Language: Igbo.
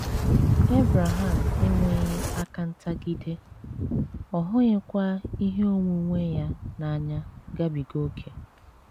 Ebreham enweghị aka ntagide, ọ hụghịkwa ihe onwunwe ya n’anya gabiga ókè.